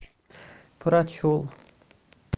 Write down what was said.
прочёл